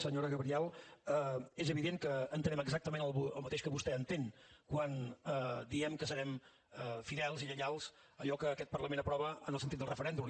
senyora gabriel és evident que entenem exactament el mateix que vostè entén quan diem que serem fidels i lleials a allò que aquest parlament aprova en el sentit del referèndum